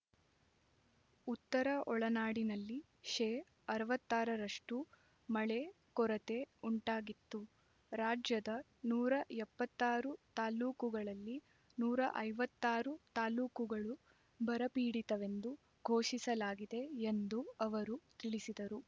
ಉತ್ತರ ಒಳನಾಡಿನಲ್ಲಿ ಶೇ ಅರವತ್ತ್ ಆರ ರಷ್ಟು ಮಳೆ ಕೊರತೆ ಉಂಟಾಗಿತ್ತು ರಾಜ್ಯದ ನೂರ ಎಪ್ಪತ್ತ್ ಆರು ತಾಲ್ಲೂಕುಗಳಲ್ಲಿ ನೂರ ಐವತ್ತ್ ಆರು ತಾಲ್ಲೂಕುಗಳು ಬರಪೀಡಿತವೆಂದು ಘೋಷಿಸಲಾಗಿದೆ ಎಂದೂ ಅವರು ತಿಳಿಸಿದರು